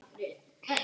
Halla Margrét hlær.